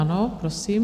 Ano, prosím.